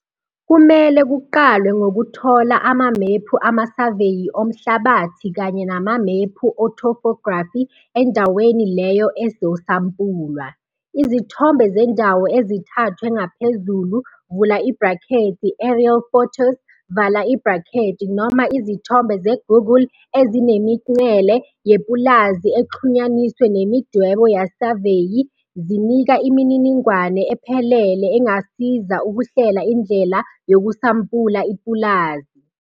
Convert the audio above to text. Kumele kuqalwe ngokuthola amamephu amasaveyi omhlabathi kanye namamephu ethophografi endawo leyo ezosampulwa. Izithombe zendawo ezithathwe ngaphezulu, aerial photos, noma izithombe zeGoogle ezinemingcele yepulazi exhunyaniswe nemidwebo yesaveyi zinika imininingwane ephelele engasiza ukuhlela indlela yokusampula ipulazi.